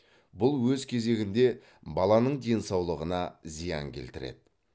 бұл өз кезегінде баланың денсаулығына зиян келтіреді